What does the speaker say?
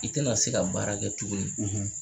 I tɛna se ka baara kɛ tuguni